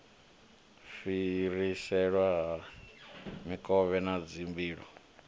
fhiriselwa ha mikovhe na dzimbilo